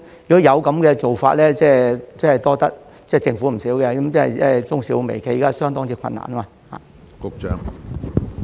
如果有這樣的安排，真的要多謝政府，因為現時中小微企相當困難。